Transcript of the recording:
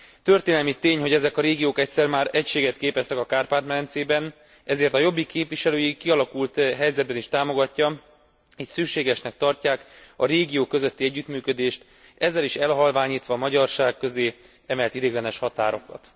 Történelmi tény, hogy ezek a régiók egyszer már egységet képeztek a Kárpát medencében, ezért a Jobbik képviselői a kialakult helyzetben is támogatják és szükségesnek tartják a régiók közötti együttműködést, ezzel is elhalványítva a magyarság közé emelt ideiglenes határokat.